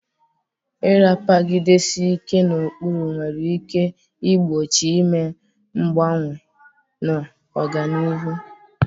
Ịrapagidesi ike na ụkpụrụ nwere ike igbochi ime mgbanwe na ọganihu.